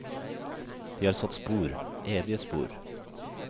De har satt spor, evige spor.